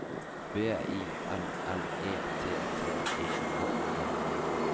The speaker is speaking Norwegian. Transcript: B I L L E T T E N E